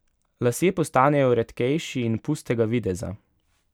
Lasje postanejo redkejši in pustega videza.